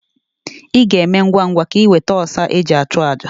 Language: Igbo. Ị ga-eme ngwa ngwa ka iweta ọsa e ji achụ àjà.